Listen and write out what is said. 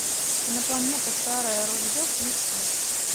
кинопланета старое ружье включи